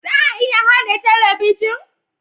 Za a iya haɗa talabijin?